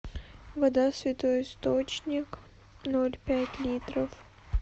вода святой источник ноль пять литров